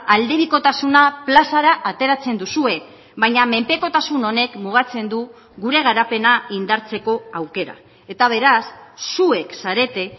aldebikotasuna plazara ateratzen duzue baina menpekotasun honek mugatzen du gure garapena indartzeko aukera eta beraz zuek zarete